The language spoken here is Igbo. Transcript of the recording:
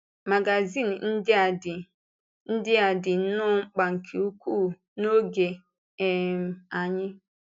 Mágazín ndị a dị ndị a dị nnọọ mkpa nke ukwuu n’oge um anyị a.